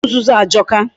Otu nzuzu ajọka.